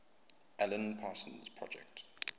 alan parsons project